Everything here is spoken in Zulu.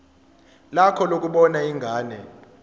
lakho lokubona ingane